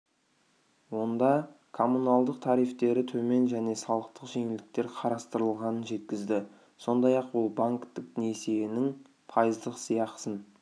онда коммуналдық тарифтері төмен және салықтық жеңілдіктер қарастырылғанын жеткізді сондай-ақ ол банктік несиенің пайыздық сыйақысын